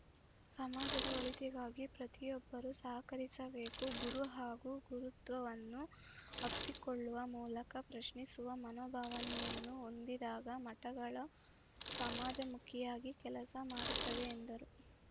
ಸಮಾಜದ ಒಳಿತಿಗಾಗಿ ಪ್ರತಿಯಿಬ್ಬರೂ ಸಹಕರಿಸಬೇಕು ಗುರು ಹಾಗೂ ಗುರುತ್ವವನ್ನು ಅಪ್ಪಿಕೊಳ್ಳುವ ಮೂಲಕ ಪ್ರಶ್ನಿಸುವ ಮನೋಭಾವನೆಯನ್ನು ಹೊಂದಿದಾಗ ಮಠಗಳು ಸಮಾಜಮುಖಿಯಾಗಿ ಕೆಲಸ ಮಾಡುತ್ತವೆ ಎಂದರು